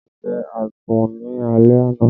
A jẹ àsun ni alẹ́ àná